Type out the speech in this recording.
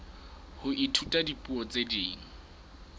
ho ithuta dipuo tse ding